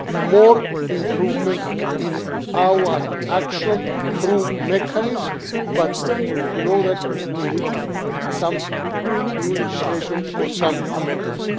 is to see more improvements in our action through this mechanism, but you know that we need some new legislation or some amendments.